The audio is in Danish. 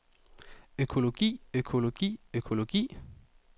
økologi økologi økologi